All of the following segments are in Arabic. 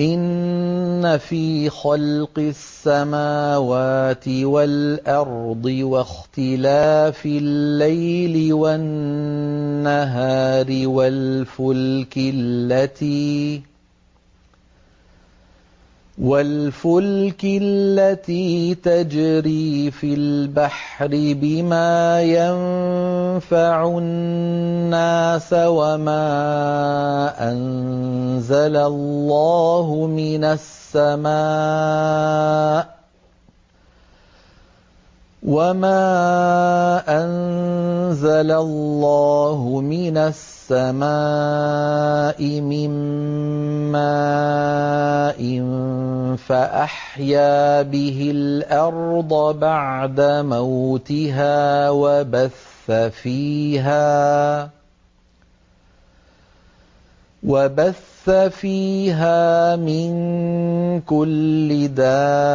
إِنَّ فِي خَلْقِ السَّمَاوَاتِ وَالْأَرْضِ وَاخْتِلَافِ اللَّيْلِ وَالنَّهَارِ وَالْفُلْكِ الَّتِي تَجْرِي فِي الْبَحْرِ بِمَا يَنفَعُ النَّاسَ وَمَا أَنزَلَ اللَّهُ مِنَ السَّمَاءِ مِن مَّاءٍ فَأَحْيَا بِهِ الْأَرْضَ بَعْدَ مَوْتِهَا وَبَثَّ فِيهَا مِن كُلِّ دَابَّةٍ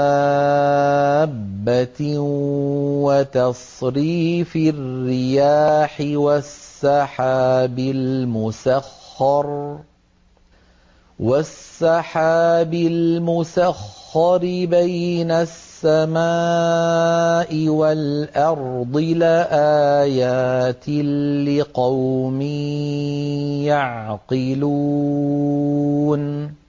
وَتَصْرِيفِ الرِّيَاحِ وَالسَّحَابِ الْمُسَخَّرِ بَيْنَ السَّمَاءِ وَالْأَرْضِ لَآيَاتٍ لِّقَوْمٍ يَعْقِلُونَ